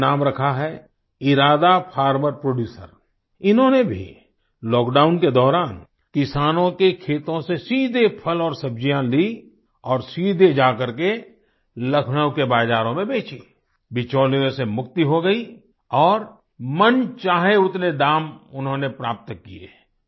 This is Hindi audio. उन्होंने नाम रखा है इरादा फार्मर प्रोडयूसर इन्होंने भी लॉकडाउन के दौरान किसानों के खेतों से सीधे फल और सब्जियाँ ली और सीधे जा करके लखनऊ के बाज़ारों में बेची बिचौलियों से मुक्ति हो गई और मन चाहे उतने दाम उन्होंने प्राप्त किये